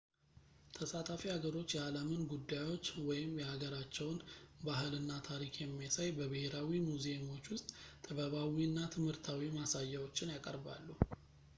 ተሳታፊ ሀገሮች የዓለምን ጉዳዮች ወይም የሀገራቸውን ባህል እና ታሪክ የሚያሳይ በብሔራዊ ሙዚየሞች ውስጥ ጥበባዊ እና ትምህርታዊ ማሳያዎችን ያቀርባሉ